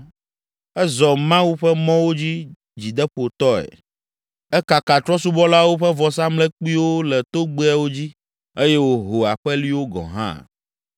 Ezɔ Mawu ƒe mɔwo dzi dzideƒotɔe; ekaka trɔ̃subɔlawo ƒe vɔsamlekpuiwo le togbɛawo dzi eye wòho aƒeliwo gɔ̃ hã.